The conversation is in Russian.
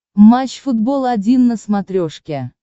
матч футбол один на смотрешке